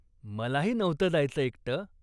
मलाही नव्हतं जायचं एकटं.